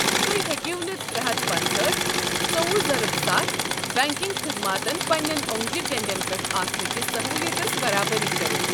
تُہۍ ہیٚکِو نہٕ ترے ہتھ پنژہأٹھ، ژوٚوُہ ضربِ ستَھ بنٛکنٛگ خدماتن پنٛنٮ۪ن اوٚنٛگجہِ ٹیٚنٛڈٮ۪ن پٮ۪ٹھ آسنٕہ كِس سہوٗلِیتس برابری كٔرِتھ۔